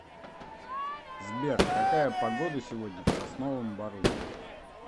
сбер какая погода сегодня в сосновом бору